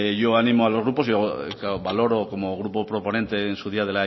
yo animo a los grupos valoro como grupo proponente en su día